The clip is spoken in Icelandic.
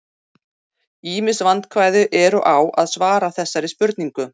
Ýmis vandkvæði eru á að svara þessari spurningu.